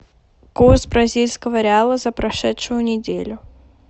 курс бразильского реала за прошедшую неделю